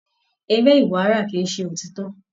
Eré ìwárà kí ṣe òtítọ.